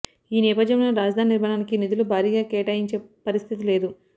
ఈ నేపథ్యంలో రాజధాని నిర్మాణానికి నిధులు భారీగా కేటాయించే పరిస్థితి లేదు